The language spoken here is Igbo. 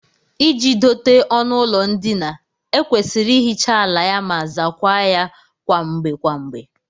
Iji dote ọnụụlọ ndina, e kwesịrị ihicha ala ya ma zaakwa ya kwa mgbe kwa mgbe